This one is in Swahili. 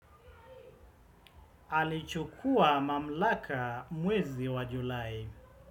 Alichukua mamlaka mwezi wa Julai.